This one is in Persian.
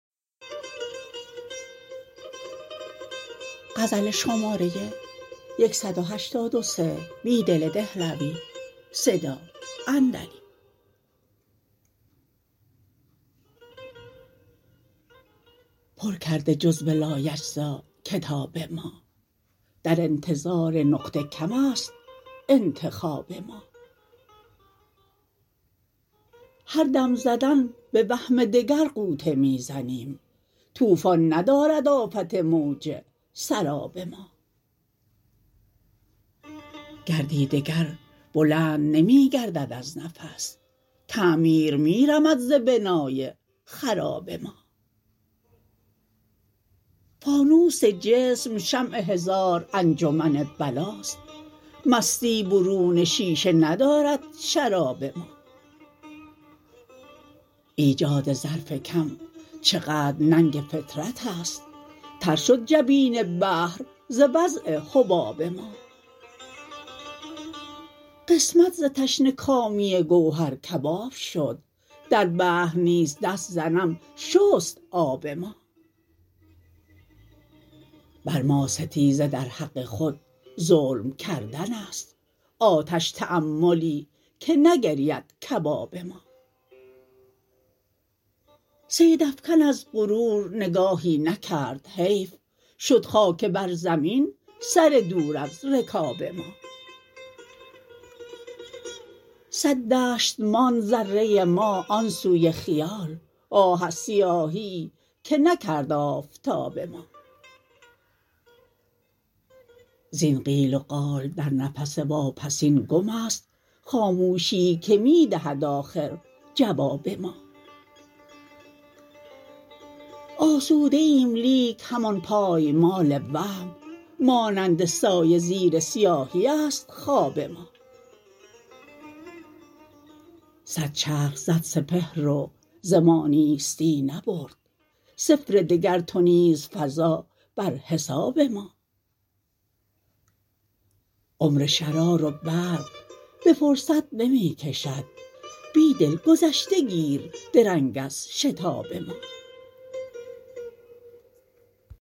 پرکرده جرو لایتجزاکتاب ما در انتظار نقطه کم است انتخاب ما هردم زدن به وهم دگر غوطه می زنیم توفا ن ندارد افت موج سراب ما گردی دگر بلند نمی گردد از نفس تعمیر می رمد ز بنای خراب ما فانوس جسم شمع هزار انجمن بلاست مستی بروون شیشه ندارد شراب ما ایجاد ظرف کم چقدر ننگ فطرت است تر شد جبین بحر ز وضع حباب ما قسمت ز تشنه کامی گوهرکباب شد در بحر نیز دست ز نم شست آ ب ما بر ما ستیزه در حق خود ظلم کردن است آتش تأملی که نگرید کباب ما صید افکن از غرور نگاهی نکرد حیف شد خاک بر زمین سر دور از رکاب ما صد دشت ماند ذرة ما آن سوی خیال آه از سیاهیی که نکرد آفتاب ما زین قیل و قال در نفس واپسین گم است خاموشی که می دهد آخر جواب ما آسوده ایم لیک همان پایمال وهم مانند سایه زیر سیاهی است خواب ما صد چرخ زد سپهر و زما نیستی نبرد صفر دگرتونیز فزا برحساب ما عمر شراروبرق به فرصت نمی کشد بیدل گذشته گیر درنگ از شتاب ما